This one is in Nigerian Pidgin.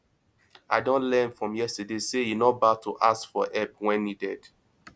i don learn from yesterday say e no bad to ask for help when needed